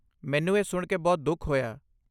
ਮੈਨੂੰ ਇਹ ਸੁਣ ਕੇ ਬਹੁਤ ਦੁਖ ਹੋਇਆ।